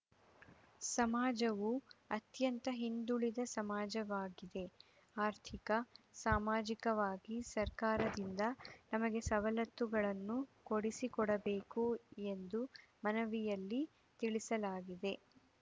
ಸಮಾಜವು ಅತ್ಯಂತ ಹಿಂದುಳಿದ ಸಮಾಜವಾಗಿದೆ ಆರ್ಥಿಕ ಸಾಮಾಜಿಕವಾಗಿ ಸರ್ಕಾರದಿಂದ ನಮಗೆ ಸವಲತ್ತುಗಳನ್ನು ಕೊಡಿಸಿಕೊಡಬೇಕು ಎಂದು ಮನವಿಯಲ್ಲಿ ತಿಳಿಸಲಾಗಿದೆ